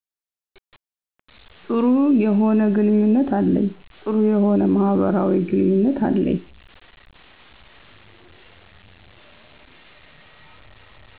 ጥሩ የሆነ ግንኙነት አለኝ ጥሩ የሆነ ማህበራዊ ግኑኝነት አለኝ